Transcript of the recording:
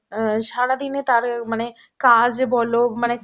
অ্যাঁ সারাদিনে তার অ্যাঁ মানে কাজ বল মানে